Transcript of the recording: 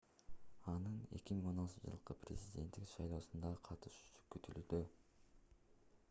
анын 2016-жылкы президенттик шайлоосуна катышуусу күтүлүүдө